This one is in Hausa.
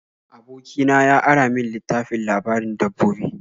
Aboki na ya ara min littafin labarin dabbobi.